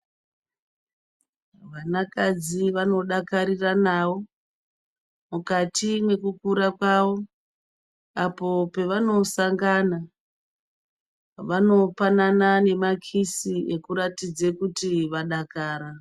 Vanakadzi vanodakarinawo mukati mwekukura kwavo apo pevanosangana vanopanana nemakisi ekuratidze kuti vadakara.